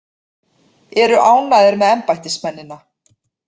Eru ánægðir með embættismennina